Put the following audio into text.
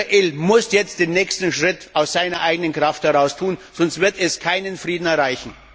Israel muss jetzt den nächsten Schritt aus eigener Kraft heraus tun, sonst wird es keinen Frieden erreichen.